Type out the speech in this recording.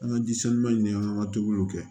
An ka ji sanuya ni an ka tobiliw kɛ